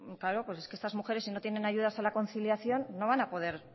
claro pues es que si estas mujeres si no tienen ayudas a la conciliación no van a poder